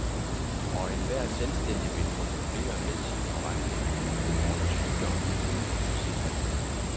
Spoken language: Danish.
Og enhver selvstændig vil få problemer med sin forretning under sygdom uden en sygeforsikring.